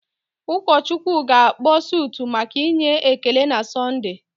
Ụọchukwu ga-akpọ sụtụ maka inye ekele na Sọnde.